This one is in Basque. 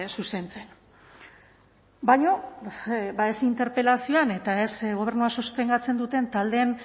zuzentzen baina ba ez interpelazioan eta ez gobernua sostengatzen duten taldeen